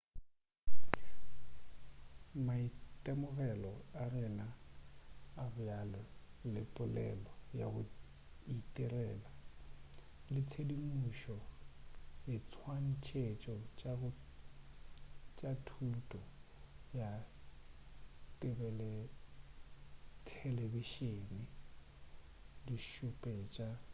maitemogelo a rena a bjale le polelo ya go itirela le tshedimušo diswantšhetšo tša thuto ya thelebišeneng di šupetša ntlha ye